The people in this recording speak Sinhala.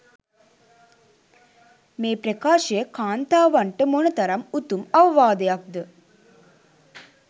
මේ ප්‍රකාශය කාන්තාවන්ට මොන තරම් උතුම් අවවාදයක්ද?